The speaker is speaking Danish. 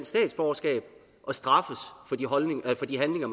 statsborgerskab og straffes for de handlinger